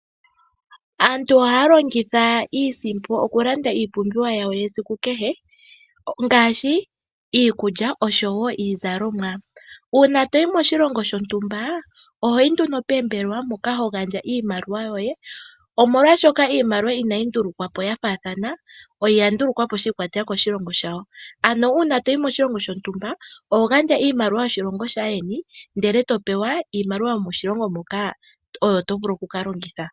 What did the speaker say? Aantu ohaya longitha iisimpo okulanda iipumbiwa yawo yesiku kehe ngaashi iikulya oshowo iizalomwa. Uuna toyi moshilongo shontumba ohoyi nduno poombelewa moka ho gandja iimaliwa yoye oshoka iimaliwa inayi ndulukwa po ya faathana . Oya ndulukwa po shiikwatelela koshilongo shayo. Ano uuna toyi moshilongo shontumba oho gandja iimaliwa yoshilongo shaandjeni e to pewa iimaliwa yomoshilonga moka oyo to vulu okukalongitha.